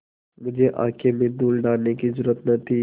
मुझे आँख में धूल डालने की जरुरत न थी